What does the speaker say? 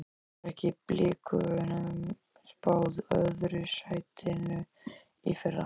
Var ekki Blikum spáð öðru sætinu í fyrra?